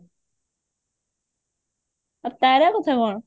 ଆଉ ତାରା କଥା କଣ